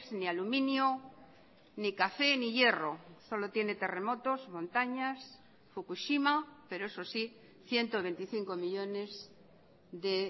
ni aluminio ni café ni hierro solo tiene terremotos montañas fukushima pero eso sí ciento veinticinco millónes de